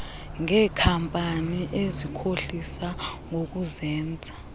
ngeenkampani ezikhohlisa ngokuzenza